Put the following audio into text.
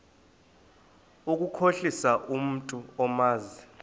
ukukhohlisa umntu omazi